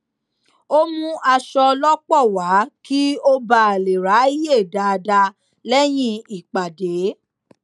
ó mú aṣọ lọpọ wá kí ó bà lè ráàyè dáadáa lẹyìn ìpàdé